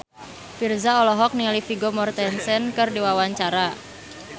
Virzha olohok ningali Vigo Mortensen keur diwawancara